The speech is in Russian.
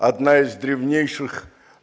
одна из древнейших